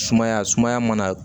Sumaya sumaya mana